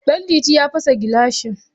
Ɗanliti ya fasa gilashi